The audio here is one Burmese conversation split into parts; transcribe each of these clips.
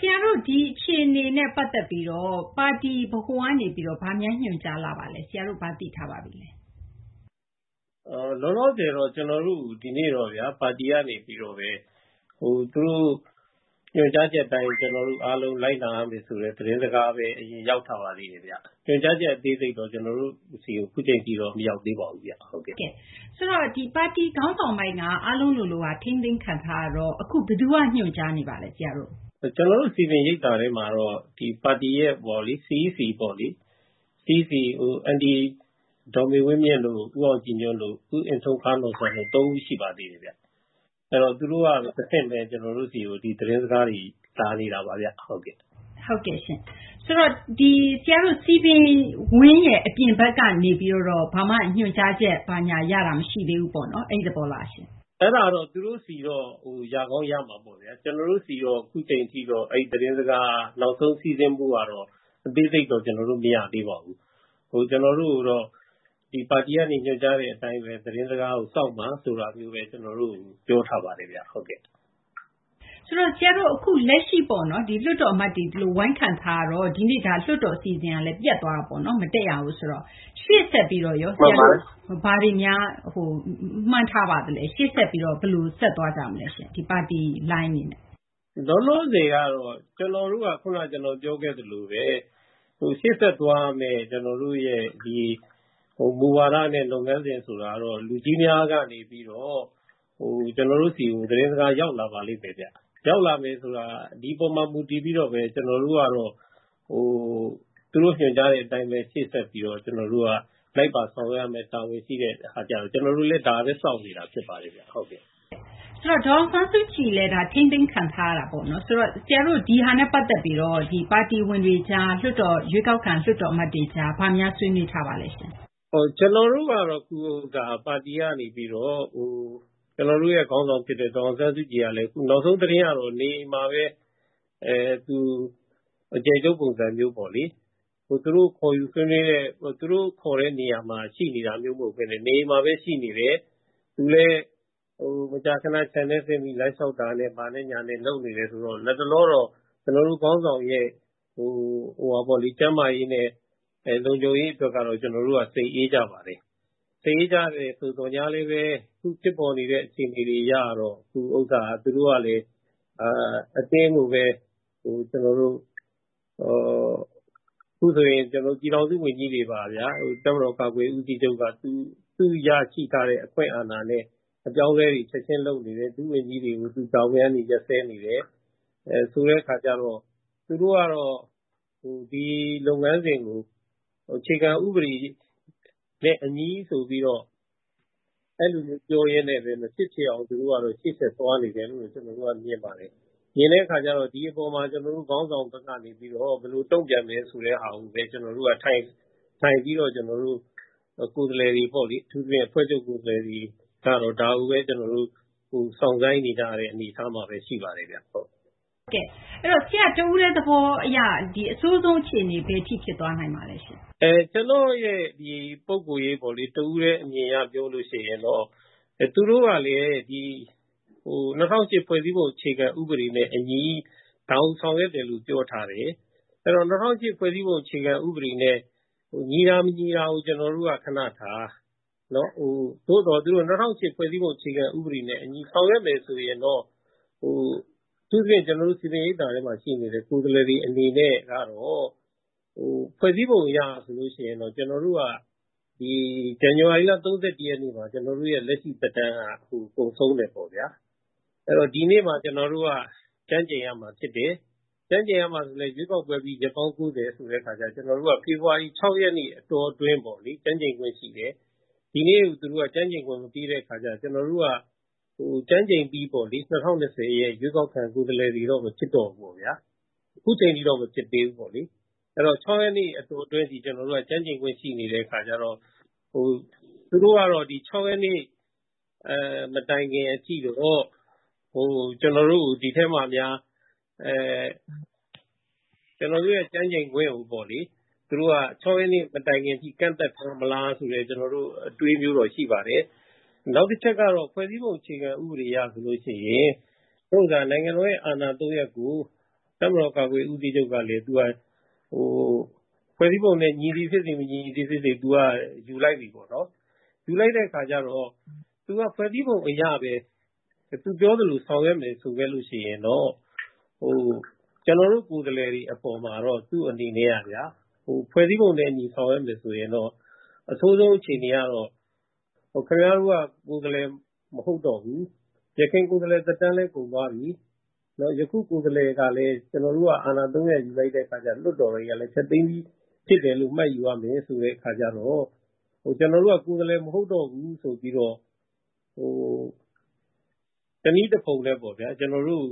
ဆရာတို့ ဒီအခြေအနေနဲ့ ပတ်သက်ပြီးတော့ ပါတီဗဟိုကနေပြီးတော့ ဘာများညွှန်ကြားလာပါသလဲဆရာ ၊ ဆရာတို့ ဘာသိထားပါပြီလဲ။ လောလောဆယ်တော့ ကျနော်တို့ကို ဒီကနေ့တော့ဗျာ ပါတီကနေပြီးတော့ပဲ သူတို့ ညွှန်ကြားချက်အတိုင်း ကျနော်တို့အားလုံး လိုက်နာရမယ်ဆိုတဲ့ သတင်းစကားပဲ အရင်ရောက်ထားသေးတယ်ဗျ။ ညွှန်ကြားချက် အသေးစိတ်တော့ ကျနော်တို့ဆီကို အခုအချိန်ထိ မရောက်သေးပါဘူးခင်ဗျ။ ဟုတ်ကဲ့ ဆိုတော့ ပါတီခေါင်းဆောင်ပိုင်း အားလုံးလိုလိုက ထိန်းသိမ်းခံထားရတော့ ဘယ်သူက ညွှန်ကြားနေပါသလဲ ဆရာတို့ကို။ ကျနော်တို့ စည်ပင်ရိပ်သာထဲမှာတော့ ပါတီရဲ့ CEC ပေါ့လေ အန်တီ ဒေါ်မေဝင်းမြင့်တို့ ၊ ဦးအောင်ကြည်ညွန့်တို့ ၊ ဦးအင်ထုံခါးနော်ဆန်တို့ ၃ ဦးရှိပါသေးတယ်ခင်ဗျ ။ အဲဒီတော့ သူတို့က တဆင့်ပဲ ကျနော်တို့ဆီကို သတင်းစကားတွေ လာနေတာပါဗျာ။ ဟုတ်ကဲ့ရှင့်။ ဆိုတော့ ဆရာတို့ စည်ပင်ဝန်းရဲ့ အပြင်ဘက်ကနေပြီးတော့ ဘာမှ ညွှန်ကြားချက် ရတာမရှိသေးဘူးပေါ့နော် အဲဒီသဘောလားရှင့်။ အဲဒါကတော့ သူတို့ဆီတော့ ရကောင်းရမှာပေ့ါဗျာ။ ကျနော်တို့ဆီကိုတော့ အခုအချိန်ထိတော့ အဲဒီသတင်းစကား နောက်ဆုံး စီးဆင်းမှုကတော့ အသေးစိတ်တော့ ကျနော်တို့ မရသေးပါဘူး။ ကျနော်တို့ကိုတော့ ဒီပါတီကနေ ညွှန်ကြားတဲ့အတိုင်းပဲ သတင်းစကားကို စောင့်ပါဆိုပြီးတော့ပဲ ပြောထားပါသေးတယ်ခင်ဗျ။ ဆိုတော့ ဆရာတို့ လက်ရှိပေါ့နော် လွှတ်တော်အမတ်တွေ ဝိုင်းခံထားတော့ ၊ ဒီနေ့ ဒါ လွှတ်တော်အစီအစဉ်ကလည်း ပျက်သွားတာပေါ့နော် မတက်ရဘူးဆိုတော့ ရှေ့ဆက်ပြီးတော့ ဘယ်လို ဆက်သွားကြမလဲရှင့် ဒီ ပါတီလိုင်းအနေနဲ့။ လောလောဆယ်ကတော့ ကျနော်တို့က ခုန ကျနော်ပြောခဲ့သလိုပဲရှေ့ဆက်သွားရမယ့် ကျနော်တို့ရဲ့ မူဝါဒနဲ့ လုပ်ငန်းစဉ်ဆိုတာကတော့ လူကြီးများကနေပြီးတော့ ကျနော်တို့ဆီကို သတင်းစကားရောက်လာပါလိမ့်မယ်။ ရောက်လာမယ်ဆိုတာ ဒီအပေါ်မှာ မူတည်ပြီးတော့ ကျနော်တို့ကပဲ သူတို့ညွှန်ကြားတဲ့အတိုင်း ရှေ့ဆက်ပြီးတော့ ကျနော်တို့က လိုက်ပါဆောင်ရွက်ရမယ့် တာဝန်ရှိတဲ့ အခါကျတော့ ကျနော်တို့လည်း ဒါပဲ စောင့်နေတာဖြစ်ပါတယ်ခင်ဗျ။ ဆိုတော့ ဒေါ်အောင်ဆန်းစုကြည်လည်း ထိန်းသိမ်းခံထားရတာပေါ့နော် ၊ ဆိုတော့ ဆရာတို့ ဒါနဲ့ ပတ်သက်ပြီးတော့ ပါတီဝင်တွေအကြား ရွေးကောက်ခံ လွှတ်တော်အမတ်တွေကြား၊ ဘာများဆွေးနွေးထားပါသလဲရှင့်။ ကျနော်တို့ကတော့ ပါတီကနေပြီးတော့ ကျနော်တို့ခေါင်းဆောင်ဖြစ်တဲ့ ဒေါ်အောင်ဆန်းစုကြည်လည်း နောက်ဆုံးသတင်းအရတော့ နေအိမ်မှာပဲ သူ အကျယ်ချုပ် ပုံစံမျိုးပေါ့လေ သူတို့ခေါ်တဲ့နေရာမှာ ရှိနေတာမျိုးမဟုတ်ပဲနဲ့ နေအိမ်မှာပဲ ရှိနေတယ်။ သူလည်း မကြာခဏ ခြံထဲ လမ်းလျှောက်ဆင်းတာနဲ့ ဘာနဲ့ညာနဲ့ လုပ်နေတယ်ဆိုတော့ လက်တလောကတော့ ကျနော်တို့ ခေါင်းဆောင်ရဲ့ ကျန်းမာရေးနဲ့ လုံခြုံရေးကတော့ ကျနော်တို့ စိတ်အေးကြပါတယ်။ စိတ်အေးကြတယ်ဆိုသော်လည်း အခုဖြစ်ပေါ်နေတဲ့ အခြေအနေအရတော့ သူတို့ကလည်း အတင်းကိုပဲ ကျနော်တို့ အခုဆိုရင် ပြည်ထောင်စုဝန်ကြီးတွေပါ အပါအဝင်ဗျာ တပ်မတော်ကာကွယ်ရေး ဦးစီးချုပ်က သူရရှိထားတဲ့ အခွင့်အာဏာနဲ့ အပြောင်းအလဲတွေ ချက်ချင်းလုပ်နေတယ်။ ဒုဝန်ကြီးတွေကို သူတာဝန်ကနေ ရပ်စဲနေတယ် ဆိုတဲ့အခါကျတော့ သူတို့ကတော့ ဒီလုပ်ငန်းစဉ်ကို အခြေခံဥပဒေနဲ့ အညီဆိုပြီးတော့ အဲလိုမျိုးပြောရင်းနဲ့ပဲ မဖြစ်ဖြစ်အောင် သူတို့ကတော့ ရှေ့ဆက်သွားနေတယ်လို့ ကျနော်တို့မြင်ပါတယ်။ မြင်တဲ့အခါကျတော့ ဒီအပေါ်မှာ ကျနော်တို့ ခေါင်းဆောင်ဘက်ကနေပြီးတော့ ဘယ်လိုတုံ့ပြန်မလဲဆိုတာကိုပဲ ကျနောတို့ အထူးသဖြင့် အဖွဲ့ချုပ် ကိုယ်စားလှယ်တွေပေါ့ ဒါကိုပဲ ကျနော်တို့ စောင့်ဆိုင်းနေတဲ့အနေအထားမှာပဲ ရှိပါတယ်ဗျ။ ဟုတ်ကဲ့ အဲဒီတော့ ဆရာ့ တဦးတည်းသဘောအရ ဒီအဆိုးဆုံးအခြေအနေ ဘယ်အထိ ဖြစ်သွားနိုင်ပါသလဲ။ ကျနော့်ရဲ့ ပုဂ္ဂိုလ်ရေးပေါ့လေ၊ တဦးတည်းအမြင်အရပြောလို့ရှိရင် သူတို့ကလည်း ၂၀၀၈ ဖွဲ့စည်းပုံ အခြေခံ ဥပဒေနဲ့အညီ ဒါကို ဆောင်ရွက်တယ်လို့ ပြောထားတယ်။ ဆိုတော့ ၂၀၀၈ ဖွဲ့စည်းပုံ အခြေခံ ဥပဒေနဲ့ ညီတာ မညီတာကို ကျနော်တို့ ခဏထား ၊ သို့သော် သူတို့က ၂၀၀၈ ဖွဲ့စည်းပုံ အခြေခံ ဥပဒေနဲ့အညီဆောင်ရွက်မယ်ဆိုရင်တော့ အထူးသဖြင့် ကျနော်တို့ စည်ပင်ရိပ်သာထဲမှာ ရှိနေတဲ့ ကိုယ်စားလှယ်တွေ အနေနဲ့ကတော့ ဖွဲ့စည်းပုံ အရဆိုရင်တော့ ကျနော်တို့က ဇန်နဝါရီလ ၃၁ ရက်နေ့မှာ ကျနော်တို့ လက်ရှိသက်တမ်းက ကုန်ဆုံးမယ်ပေါ့ဗျာ။ အဲဒီတော့ ဒီနေ့မှာ ကျနော်တို့ ကျမ်းကျိန်ရမှာဖြစ်တယ်။ ကျမ်းကျိန်ရမှာကလည်း ရွေးကောက်ပွဲပြီး ရက်ပေါင်း ၉၀ ဆိုတော့ကျနော်တို့က ဖေဖော်ဝါရီ ၆ ရက်နေ့ အတောအတွင်းပေါ့ ကျမ်းကျိန်ခွင့်ရှိတယ်။ ဒီနေ့ကို သူတို့က ကျမ်းကျိန်ခွင့်မပေးတဲ့အခါကျတော့ ကျနော်တို့က ကျမ်းကျိန်အပြီးပေါ့လေ ၂၀၂၀ ရဲ့ ရွေးကောက်ခံ ကိုယ်စားလှယ်တွေတော့ မဖြစ်တော့ဘူးပေါ့ဗျာ။ အခုအချိန်ထိတော့ မဖြစ်သေးဘူးပေါ့လေ။ အဲဒီတော့ ၆ ရက်နေ့ အတောအတွင်းအထိ ကျနော်တို့က ကျမ်းကျိန်ခွင့်ရှိနေတဲ့ အခါကျတော့ သူတို့ကတော့ ဒီ ၆ ရက်နေ့ မတိုင်ခင်အထိတော့ ကျနော်တို့ရဲ့ ကျမ်းကျိန်ခွင့်ကို ၆ ရက်နေ့ မတိုင်ခင်အထိ ကန့်သတ်ထားမလား ဆိုတဲ့အတွေးမျိုးတော့ ရှိပါတယ်။ နောက်တချက်ကတော့ ဖွဲ့စည်းပုံ အခြေခံ ဥပဒေအရ ဆိုရင် နိုင်ငံတော်ရဲ့ အာဏာ ၃ ရပ်ကို တပ်မတော်ကာကွယ်ရေးဦးစီးချုပ်ကလည်း ဖွဲ့စည်းပုံ နဲ့ ညီသည်ဖြစ်စေ မညီသည်ဖြစ်စေ သူက ယူလိုက်ပြီပေါ့နော် ။ ယူလိုက်တဲ့အခါကျတော့ ဖွဲ့စည်းပုံ အရပဲ သူပြောသလို ဆောင်ရွက်ခဲ့မယ်ဆိုရင်တော့ ကျနော်တို့ ကိုယ်စားလှယ်တွေအပေါ်မှာ သူ့အနေနဲ့က ဖွဲ့စည်းပုံနဲ့အညီ ဆောင်ရွက်မယ်ဆိုရင်တော့ အဆိုးဆုံးအခြေအနေကတော့ ခင်ဗျားတို့က ကိုယ်စားလှယ်မဟုတ်တော့ဘူး ၊ ယခင်ကိုယ်စားလှယ်သက်တမ်းလည်း ကုန်သွားပြီ။ ယခုကိုယ်စားလှယ်ကလည်း ကျနော်တို့က အာဏာ ၃ ရပ်ယူလိုက်တဲ့အခါကျတော့ လွှတ်တော်ကလည်း ဖျက်သိမ်းပြီ ဖြစ်တယ်လို့ မှတ်ယူရမယ် ဆိုတဲ့အခါကျတော့ ခင်ဗျားတို့က ကိုယ်စားလှယ်မဟုတ်တော့ဘူးဆိုတဲ့အခါကျတော့ တနည်းတဖုံနဲ့ပေါ့ဗျာ ကျနော်တို့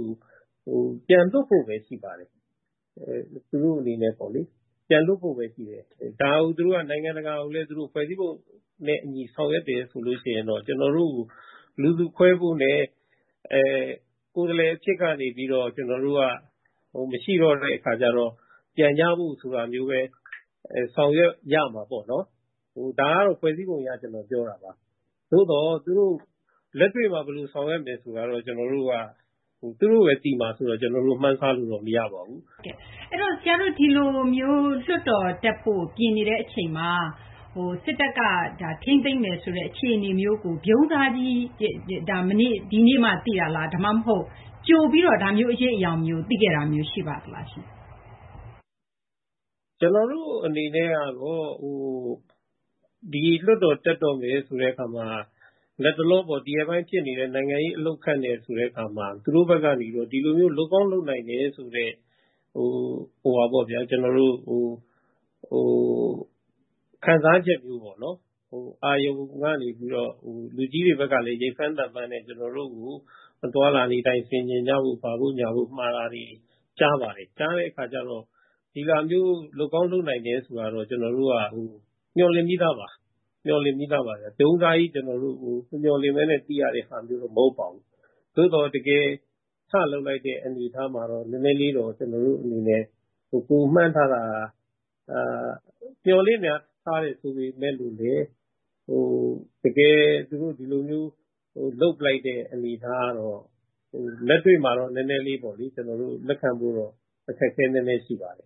ကို ပြန်လွှတ်ဖို့ပဲ ရှိပါတယ်။ သူတို့အနေနဲ့ပေါ့လေ ပြန်လွှတ်ဖို့ပဲ ရှိပါတယ်။ ဒါကို သူတို့က နိုင်ငံတကာကိုလည်း ဖွဲ့စည်းပုံနဲ့အညီ ဆောင်ရွက်တယ်ဆိုရင်တော့ ကျနော်တို့ကို လူစုခွဲဖို့နဲ့ ကိုယ်စားလှယ်အဖြစ်ကနေပြီးတော့ ကျနော်တို့က မရှိတော့တဲ့အခါကျတော့ ပြန်ကြဖို့ ဆိုတာမျိုးပဲ ဆောင်ရွက်ရမှာပေါ့နော်။ ဒါကတော့ ဖွဲ့စည်းပုံအရ ကျနော်ပြောတာပါ။ သို့သော် သူတို့ လက်တွေ့မှာ ဘယ်လိုဆောင်ရွက်မယ်ဆိုတာမျိုးကတော့ သူတို့ပဲ သိမှာဆိုတော့ ကျနော်တို့ မှန်းဆလို့တော့ မရပါဘူး။ အဲဒီတော့ ဆရာတို့ ဒီလို လွှတ်တော်တက်ဖို့ ပြင်နေတဲ့အချိန်မှာ စစ်တပ်က ထိန်းသိမ်းမယ်ဆိုတဲ့ အခြေအနေမျိုးကို ဗြုန်းစားကြီး ဒီနေ့မှ သိရသလား၊ ဒါမှမဟုတ် ကြိုပြီးတော့ ဒါမျိုး အရိပ်အရောင်မျိုး သိခဲ့တာမျိုး ရှိပါသလားရှင့်။ ကျနော်တို့အနေနဲ့တော့ ဒီလွှတ်တော်တက်တော့မယ်ဆိုတဲ့အခါမှာ လက်တလောပေါ့ ဒီရက်ပိုင်းဖြစ်နေတဲ့ နိုင်ငံရေး အလှုပ်အခတ်နဲ့ဆိုတော့ သူတို့ဘက်က ဒီလို လုပ်ကောင်းလုပ်နိုင်တယ်ဆိုတဲ့ ခံစားချက်မျိုးပေါ့နော် အာရုံကနေပြီးတော့ လူကြီးတွေဘက်ကလည်း ရိပ်ဖမ်းသံဖမ်းနဲ့ ကျနော်တို့ကို အသွားအလာဆင်ခြင်ကြဖို့ မှာတာတွေကြားပါတယ်။ ကြားတဲ့အခါကျတော့ ဒီလို လုပ်ကောင်းလုပ်နိုင်တယ်ဆိုတာမျိုးကတော့ ကျနော်တို့က မျှော်လင့်ပြီးသားပါ။ ဗြုန်းစားကြီး ကျနော်တို့ မမျှော်လင့်ပဲနဲ့ သိရတာမျိုး မဟုတ်ပါဘူး။ သို့သော် တကယ်ထလုပ်လိုက်တဲ့အနေအထားမှာတော့ နည်းနည်းလေးတော့ ကျနော်တို့အနေနဲ့ ကိုယ်မှန်းထားတာက မျှော်လင့်ထားတယ်ဆိုပေမယ့် တကယ်သူတို့ ဒီလိုမျိုး လုပ်လိုက်တဲ့အနေအထားကတော့ လက်တွေ့မှာတော့ နည်းနည်းလေး ကျနော်တို့ လက်ခံဖို့ကတော့ အခက်အခဲနည်းနည်းရှိပါတယ်